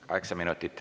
Kaheksa minutit.